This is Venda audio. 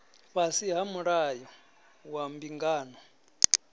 fhasi ha mulayo wa mbingano